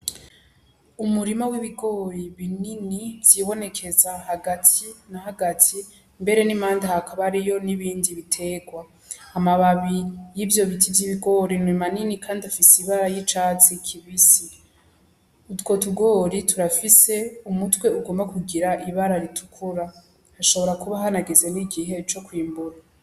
Umurima w'ibigori binini vyibonekeza hagati na hagati mbere n'impande hakabayeyo n'ibindi biterwa, amababi y'ivyo biti vy'ibigori ni manini kandi afise ibara y'icatsi kibisi, utwo tugori turafise umutwe ugomba kugira ibara ritukura hashobora kuba hanageze n'igihe co kwimbura.